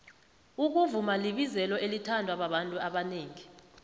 ukuvuma libizelo elithandwa babantu abanengi